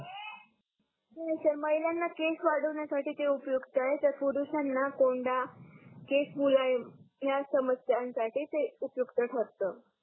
हो सर महिलांना केस वाढवण्यासाठी ते उपयुक्त आहे तर पुरुषांना कोंडा केस मुलायम या समस्यांसाठी ते उपयुक्त ठरतो